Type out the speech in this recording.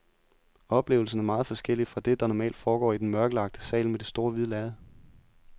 Oplevelsen er meget forskellig fra det, der normalt foregår i den mørklagte sal med det store hvide lærred.